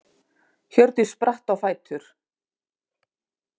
Hjördís spratt á fætur.